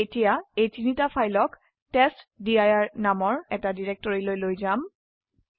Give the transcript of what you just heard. আমি এতিয়া এই তিনটা ফাইলক টেষ্টডিৰ নামৰ এটা ডিৰেকটৰিলৈ লৈ যাম